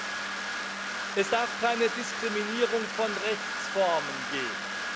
Und drittens Es darf keine Diskriminierung von Rechtsformen geben.